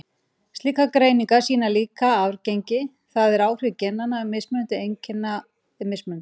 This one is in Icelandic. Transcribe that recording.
Slíkar greiningar sýna líka að arfgengi, það er áhrif genanna, mismunandi eiginleika er mismikið.